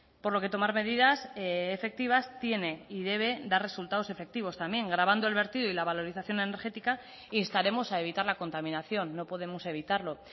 por lo que tomar medidas efectivas tiene y debe dar resultados efectivos también gravando el vertido y la valorización energética instaremos a evitar la contaminación no podemos evitarlo